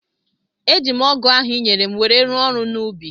Eji m ọgu ahu i nyere m wéé rụọ ọrụ n’ubi